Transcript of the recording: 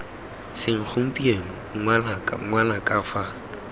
seng gompieno ngwanaka ngwanaka fa